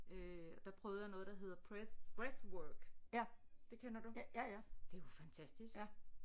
Øh der prøvede jeg noget der hedder breath breath work det kender du det er jo fantastisk